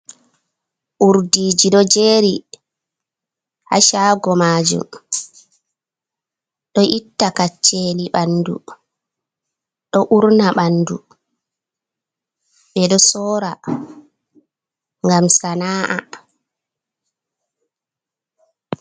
Urdiji ɗo jeri hashago majum, ɗo itta kacceli ɓandu, ɗo urna ɓandu ɓe ɗo sora ngam sana’a.